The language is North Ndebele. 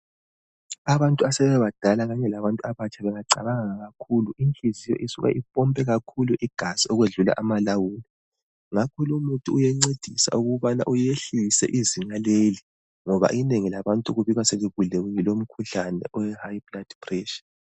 Abantu asebebadala labantu abatsha bengacabanga kakhulu, inhliziyo isuka impompe kakhulu igazi okwedlula amalawulo, ngakho lumuthi uyancedisa ukubana uyehlise izinga leli ngoba inengi labantu libikwa selibulewe yilomkhuhlane owe high blood pressure.